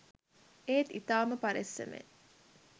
ඒත් ඉතාම පරෙස්සමෙන්